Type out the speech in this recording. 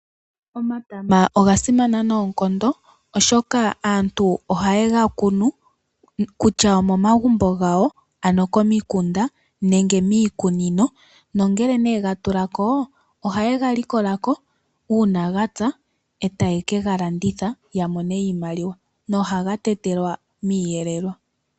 Omatama oga simana noonkondo, oshoka aantu oha ye ga kunu kutya omomagumbo gawo, komikunda nenge miikuninino. Ngela ga tula ko oha ye ga likola ko uuna ga pya, e ta ye ke ga landitha, ya mone iimaliwa, na oha ga tetelwa miiyelelwa.